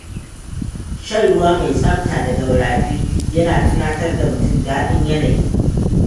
Shan ruwa mai tsabta daga rafi yana tunatar da mutum daɗin yanayi.